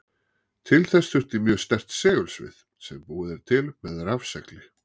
Til þess þurfti mjög sterkt segulsvið sem búið er til með rafsegli.